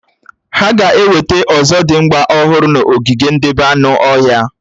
Hà ga-ewetà ọ̀zọ̀dimgba ọhụrụ n'ogige ndebé anụ ọhịa